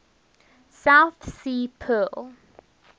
south sea pearl